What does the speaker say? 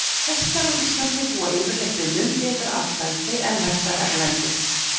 Hestar á Íslandi búa yfirleitt við mun betra atlæti en hestar erlendis.